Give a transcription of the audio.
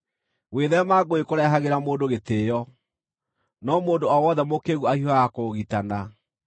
Gwĩtheema ngũĩ kũrehagĩra mũndũ gĩtĩĩo, no mũndũ o wothe mũkĩĩgu ahiũhaga kũũgitana.